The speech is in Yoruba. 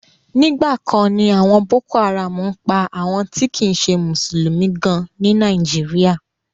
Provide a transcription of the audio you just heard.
Nígbà kan ni àwọn boko haram ń pa àwọn ti kìí ṣe mùsùlùmí gan ní Nàìjíríà.